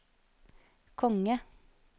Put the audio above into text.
konge